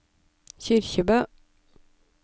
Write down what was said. Kyrkjebø